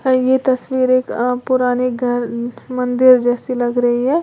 ये तस्वीर एक अ पुरानी घर मंदिर जैसी लग रही है।